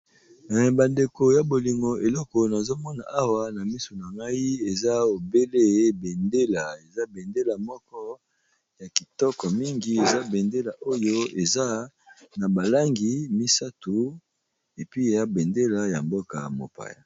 Ba ndeko ya bolingo eloko nazo mona awa na misu na ngai eza obele bendela, eza bendela moko ya kitoko mingi eza bendela oyo eza na ba langi misato epi eya bendela ya mboka mopaya.